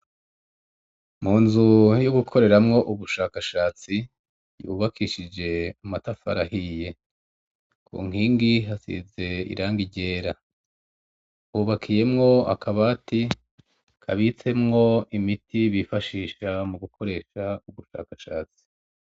Mu nzu yo gukoreramwo ubushakashatsi, yubakishije amatafari ahiye, ku nkingi hasize hasize irangi ryera. Hubakiyemwo akabati kabitsemwo imiti bifashisha mu gukoresha ubushakashatsi.